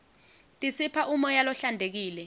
tisipha umoya lohlantekile